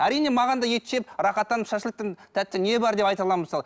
әрине маған да ет жеп рахаттанып шашлықтан тәтті не бар деп айта аламын мысалы